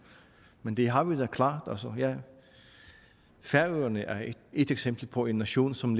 men det har vi da klart færøerne er et eksempel på en nation som